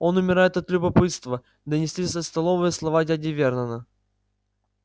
он умирает от любопытства донеслись со столовой слова дяди вернона